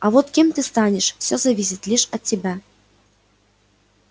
а вот кем ты станешь зависит лишь от тебя